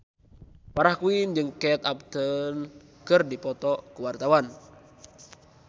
Farah Quinn jeung Kate Upton keur dipoto ku wartawan